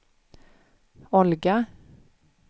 Olga